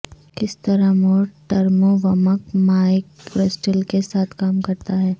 کس طرح موڈ ٹرموومک مائع کرسٹل کے ساتھ کام کرتا ہے